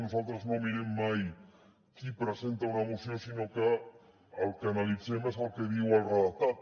nosaltres no mirem mai qui presenta una moció sinó que el que analitzem és el que diu el redactat